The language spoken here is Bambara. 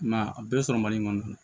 I m'a ye a bɛɛ bɛ sɔrɔ mali kɔnɔ